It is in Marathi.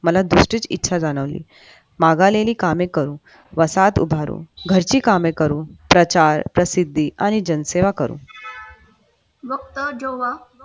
मला दिसते इच्छा जाणवली माघालेली कामे करून वसाहत उभारून घरची कामे करून प्रचार प्रसिद्धी आणि जनसेवा करू